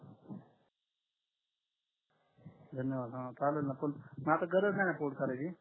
धन्यवाद अं चालेल न पण मग आता गरज नाही न करण्याची